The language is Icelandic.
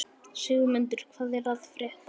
Sigmundur, hvað er að frétta?